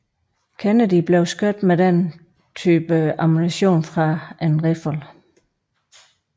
Kennedy blev skudt med denne type ammunition fra en riffel